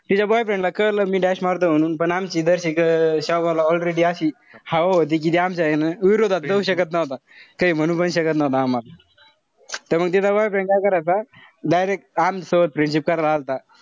तिच्या boyfriend ला कळलं मी dash मारतोय म्हणून पण आमची जशी ला अशी हाव होती कि ती आमच्या ए ना विरोधात जाऊ शकत नव्हता. काई म्हणू पण शकत आम्हाला. त्यामुळे तिचा boyfriend काय करायचा direct आमच्यासोबत friendship करायला आला होता.